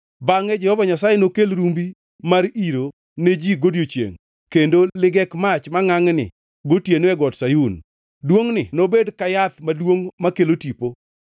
Bangʼe Jehova Nyasaye nokel rumbi mar iro ne ji godiechiengʼ kendo ligek mach mangʼangʼni gotieno e Got Sayun. Duongʼni nobed ka yath maduongʼ makelo tipo.